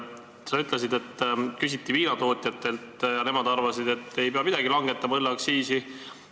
Sa ütlesid, et küsiti viinatootjatelt ja nemad arvasid, et ei pea langetama õlleaktsiisi.